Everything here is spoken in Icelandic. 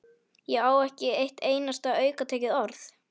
Ég á ekki eitt einasta aukatekið orð!